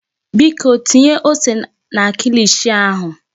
Biko tinye ose na kilishi ahụ.